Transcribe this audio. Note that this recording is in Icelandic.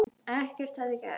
Ekkert hefði gerst.